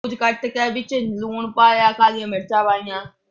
ਵਿੱਚ ਲੂਣ ਪਾਇਆ। ਕਾਲੀਆਂ ਮਿਰਚਾਂ ਪਾਈਆਂ।